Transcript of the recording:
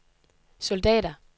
soldater